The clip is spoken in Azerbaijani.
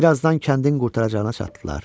Bir azdan kəndin qurtaracağına çatdılar.